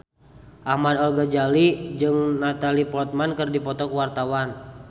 Ahmad Al-Ghazali jeung Natalie Portman keur dipoto ku wartawan